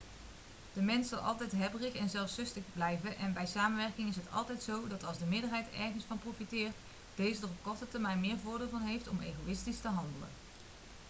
de mens zal altijd hebberig en zelfzuchtig blijven en bij samenwerking is het altijd zo dat als de meerderheid ergens van profiteert deze er op de korte termijn meer voordeel van heeft om egoïstisch te handelen